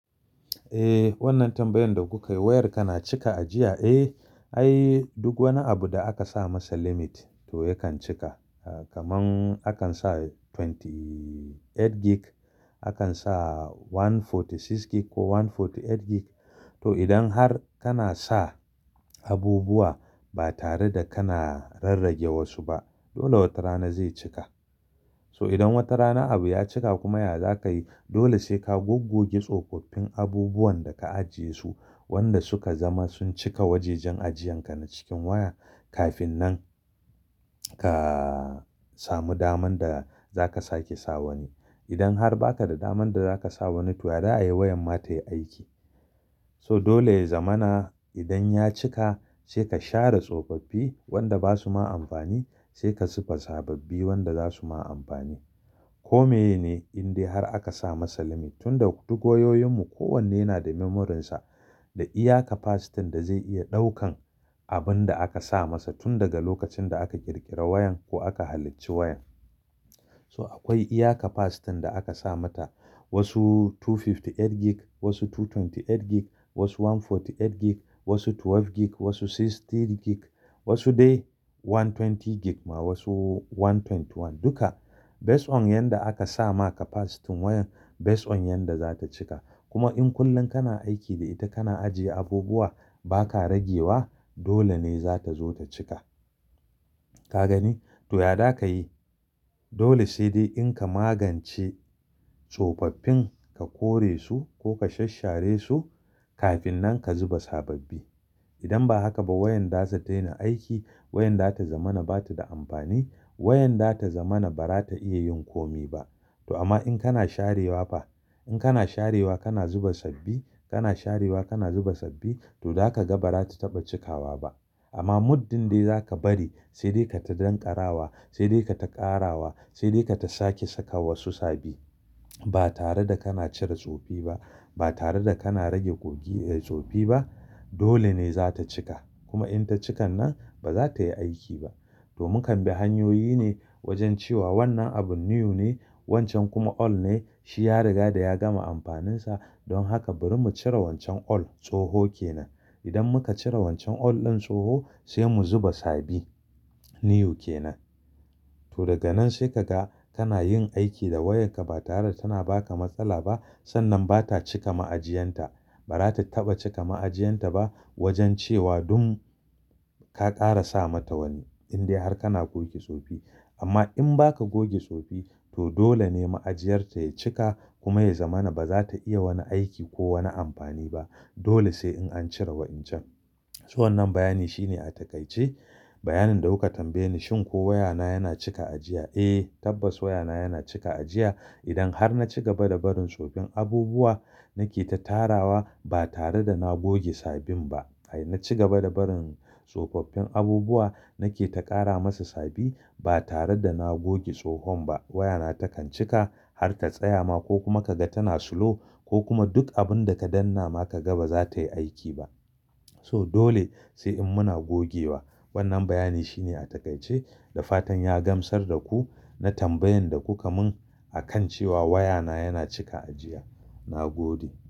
Eh, wannan tambayar da kuka yi wayar kana cika ajiya? Eh, ai duk wani abu da aka sa masa limit to yakan cika. Kaman akan sa ashirin da takwas gig, akan sa ɗari da arba'in da shida gig ko ɗari da arba'in da takwas gig. To idan har kana sa abubuwa ba tare da kana rarrage wasu ba dole wata rana zai cika. To idan wata rana abu ya cika kuma ya zaka yi? Dole sai ka goggoge tsofaffin abubuwan da ka ajiye su wanda suka zama sun cika wajajen ajiyan ka na cikin waya kafin nan ka samu daman da zaka sake sa wani. Idan har baka da daman da zaka sa wani to ya za ayi wayan ma ta yi aiki. To dole ya zamana idan ya cika sai ka share tsofaffi wanda basu ma amfani sai ka zuba sababbi wanda zasu ma amfani. Komeye ne indai har aka sa masa limit tunda duk wayoyin mu kowanne yana da memorinsa da iya capacity da zai iya ɗaukan abun da aka sa masa tun daga lokacin da aka ƙirƙira wayan ko aka halicci wayan. To akwai iya capacity da aka sa mata wasu ɗari biyu da hamsin da takwas gig, wasu ɗari biyu da ashirin da takwas gig, wasu ɗari da arba'in da takwas gig, wasu goma sha biyu gig, wasu sittin gig, wasu dai ɗari da ashirin gig ma wasu ɗari da ashirin da ɗaya. Duka based on yanda aka sa ma capacity wayan, based on yanda zata cika. Kuma in kullum kana aiki da ita kana ajiye abubuwa ba ka ragewa dole ne zata zo ta cika. Ka gani? To ya zaka yi? Dole sai dai in ka magance tsofaffin ka kore su ko ka sasshare su kafin nan ka zuba sababbi. Idan ba haka ba wayan zata daina aiki, wayan zata zamana bata da amfani, wayan zata zamana ba za ta iya yin komi ba. To amma in kana sharewa fa, in kana sharewa kana zuba sabbi, kana sharewa kana zuba sabbi to zaka ga ba za ta taɓa cikawa ba. Amma muddin dai zaka bari sai dai ka ta dan ƙarawa, sai dai ka ta ƙarawa, sai dai ka ta sake saka wasu sabi ba tare da kana cire tsofi ba, ba tare da kana rage, goge eh tsofi ba dole ne za ta cika. Kuma in ta cikan nan ba za ta yi aiki ba. To mukan bi hanyoyi ne wajen cewa wannan abun new ne wancan kuma old ne. Shi ya riga da ya gama amfaninsa dan haka bari mu cire wancan old, tsoho kenan. Idan muka cire wancan old ɗin tsoho sai mu zuba sabin new kenan. To daga nan sai ka ga kana yin aiki da wayarka ba tare da tana ba ka matsala ba sannan ba ta cika ma'ajiyanta. Ba za ta taɓa cika ma'ajiyanta ba wajen cewa don ka ƙara sa mata wani indai har kana goge tsofi. Amma in ba ka goge tsofi to dole ne ma'ajiyarta ya cika kuma ya zamana ba za ta iya wani aiki ko wani amfani ba. Dole sai in an cire wa'incan. So wannan bayani shine a takaice bayanin da kuka tambaye ni shin ko wayana yana cika ajiya? Eh, tabbas wayana yana cika ajiya. Idan har na ci gaba da barin tsofin abubuwa, nake ta tarawa ba tare da na goge sabin ba. Ai na ci gaba da barin tsofaffin abubuwa nake ta ƙara masa sabi, ba tare da na goge tsohon ba, wayana takan cika har ta tsaya ma ko kuma ka ga tana slow ko kuma duk abun da ka danna ma kaga ba za tayi aiki ba. To dole sai in muna gogewa wannan bayani shine a taƙaice. Da fatan ya gamsar da ku na tambayan da kuka mun akan cewa wayana yana cika ajiya. Na gode.